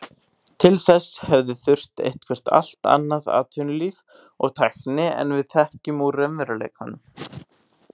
Til þess hefði þurft eitthvert allt annað atvinnulíf og tækni en við þekkjum úr raunveruleikanum.